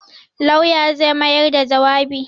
Lauya zai mayar da jawabi.